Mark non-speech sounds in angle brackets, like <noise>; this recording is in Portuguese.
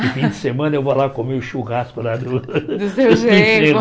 <laughs> E fim de semana eu vou lá comer o churrasco lá do <laughs> Do seu genro.